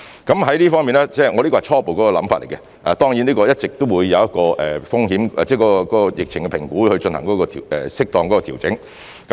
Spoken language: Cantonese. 在這方面——這是我的初步想法——當然，一直都會因應對疫情的評估來進行適當的調整。